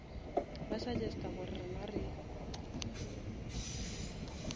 ba suggesta gore rena re